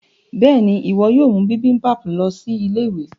béèni iwọ yóò mú bibimpap lọ sí Ilé-ìwé.